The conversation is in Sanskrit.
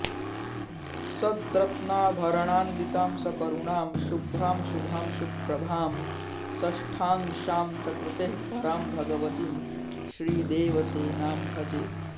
सद्रत्नाभरणान्वितां सकरुणां शुभ्रां शुभां सुप्रभां षष्ठांशां प्रकृतेः परां भगवतीं श्रीदेवसेनां भजे